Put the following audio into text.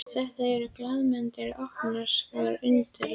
Þetta eru glaðlyndir og opinskáir unglingar.